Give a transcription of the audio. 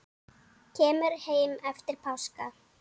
Kemur heim eftir páska.